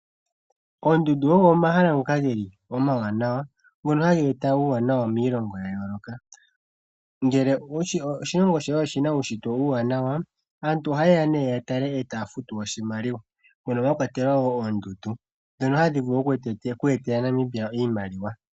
Oondundu ogo omahala ngoka ge li omawanawa ngono ha ge eta uuwanawa miilongo ya yooloka. Ngele oshilongo shoye oshina uushitwe uuwanawa, aantu oha yeya nee ya tale e taya futu oshimaliwa mono mwa kwathelwa oondundu dhono hadhi vulu oku etela Namibia iimaliwa.